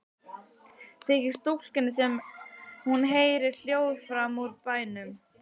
Þykir stúlkunni sem hún heyri hljóð framan úr bænum.